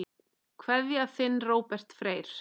Kveðja, þinn Róbert Freyr.